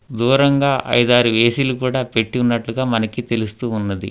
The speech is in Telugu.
దూరంగా ఐదు ఆరు ఏ_సి కూడా పెట్టి ఉన్నట్లుగా మనకి తెలుస్తూ ఉన్నది.